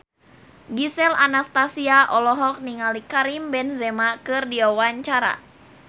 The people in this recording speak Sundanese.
Gisel Anastasia olohok ningali Karim Benzema keur diwawancara